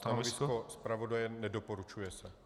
Stanovisko zpravodaje - nedoporučuje se.